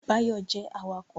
Báyọ̀ jẹ́ awakọ̀